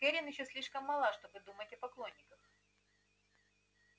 кэррин ещё слишком мала чтобы думать о поклонниках